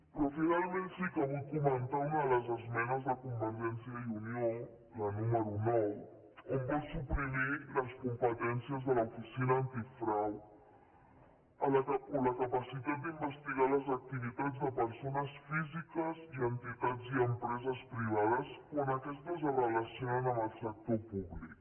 però finalment sí que vull comentar una de les esmenes de convergència i unió la número nou on vol suprimir les competències de l’oficina antifrau o la capacitat d’investigar les activitats de persones físiques i entitats i empreses privades quan aquestes es relacionen amb el sector públic